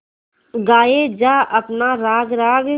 गाये जा अपना राग राग